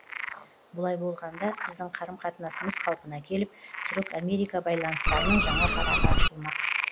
бұлай болғанда біздің қарым қатынасымыз қалпына келіп түрік америка байланыстарының жаңа парағы ашылмақ